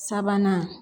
Sabanan